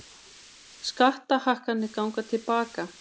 Skattahækkanir gangi til baka